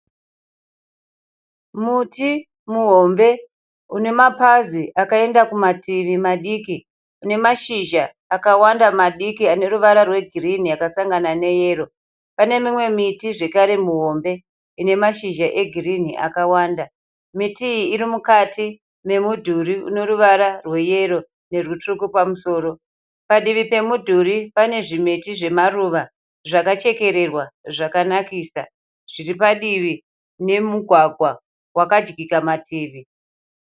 Muti muhombe une mapazi akaenda kumativi madiki. Une mashizha akawanda madiki aneruvara rwegirini yakasangana neyero. Pane mimwe miti zvakare mihombe ine mashizha egirinhi akawanda. Miti iyi iri mukati memudhuri une ruvara rweyero nerutsvuku pamusoro. Padivi pemudhuri pane zvimiti zvemaruva zvakachekererwa zvakanakisa zviripadivi pomugwagwa wakadyika mativi.